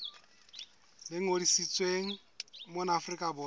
le ngodisitsweng mona afrika borwa